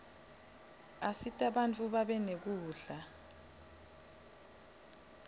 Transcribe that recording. asita bantfu babe nekudla